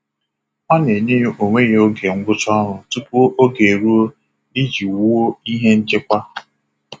Ọ na-enye onwe ya oge ngwụcha ọrụ tupu oge eruo iji wuo ihe nchekwa.